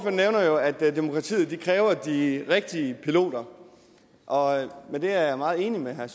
nævner jo at demokratiet kræver de rigtige piloter og det er jeg meget enig med herre